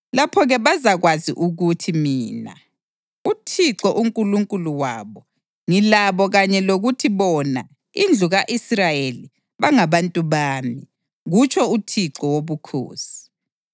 Lapho-ke bazakwazi ukuthi mina, UThixo uNkulunkulu wabo, ngilabo kanye lokuthi bona, indlu ka-Israyeli, bangabantu bami, kutsho uThixo Wobukhosi.